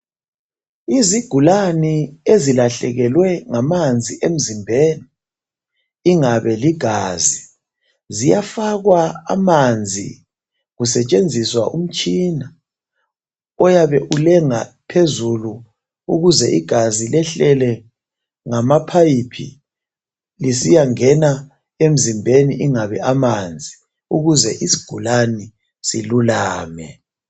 Izigulane ezilahlekelwe ngamanzi emzimbeni ingabe ligazi ziyafakwa amanzi kusetshenziswa umtshina oyabe ulenga phezulu ukuze igazi lehlele ngamaphayiphi lisiyangena emzimbeni ingabe amanzi ukuze isigulane silulame.